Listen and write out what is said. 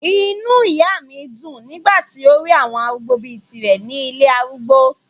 inú ìyá mi dùn nígbà tí ó rí àwọn arúgbó bíi tirẹ̀ ní ilé arúgbó